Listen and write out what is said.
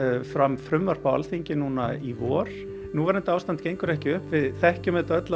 fram frumvarp á Alþingi núna í vor núverandi ástand gengur ekki upp við þekkjum það öll